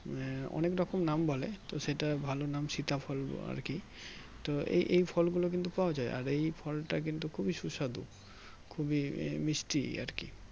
আহ অনেক রকম নাম বলে তো সেটা ভালো নাম সীতা ফল আরকি তো এই এই ফল গুলো কিন্তু পাওয়া যাই আর এই ফলটা কিন্তু খুবই সুস্বাধু খুবই মিষ্টি আরকি